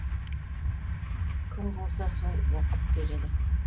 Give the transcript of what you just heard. кім болса сол оқып береді